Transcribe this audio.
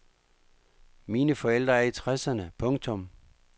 Mine forældre er i tresserne. punktum